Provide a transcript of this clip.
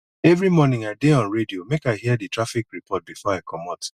every morning i dey on radio make i hear di traffic report before i comot